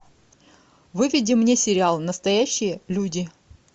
выведи мне сериал настоящие люди